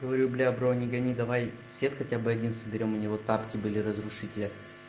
говорю для брони гони давай сет хотя бы один соберём у него тапки были разрушителя